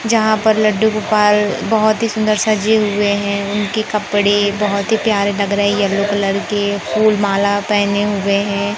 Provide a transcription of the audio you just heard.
यहां पर लड्डू गोपाल बहुत ही सुंदर सजे हुए हैं उनके कपड़े बहुत ही प्यारे लग रही है येलो कलर के फूल माला पहने हुए हैं।